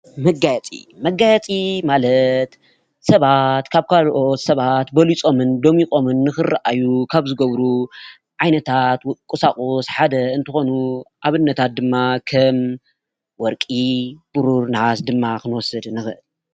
መጋየፂ፦ መጋየፂ ማለት ስባት ካብ ካልኦት ስባት በሊፆምን ደሚቆምን ንክራአዩ ካብ ዝገብሩ ዓይነታት ቁሳቁስ ሓደ እንትኮኑ ኣብነታት ድማ ከም ወሪቂ፣ ብሩር፣ ነሃስ ክንወስደ ንክእል፡፡